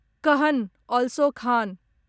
कहन अलसो खान